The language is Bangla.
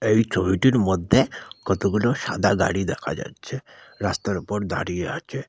এই ছবিটির মধ্যে কতগুলো সাদা গাড়ি দেখা যাচ্ছে রাস্তার উপর দাঁড়িয়ে আছে।